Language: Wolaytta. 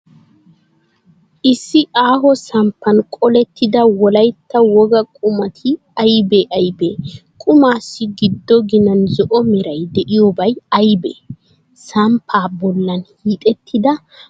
Issi aaho samppan qolettida Wolaytta wogaa qumati aybee aybee? Qumaassi giddo ginan zo'o meray de'iyoobay aybee? Samppaa bollan hiixettida maataa meray de'iyoobay aybee?